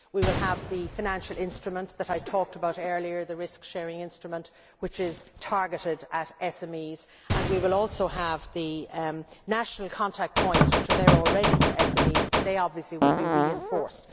We will have the financial instrument that I talked about earlier, the risk sharing instrument, which is targeted at SMEs, and we will also have the national contact points which are there already for SMEs, but they obviously will be reinforced.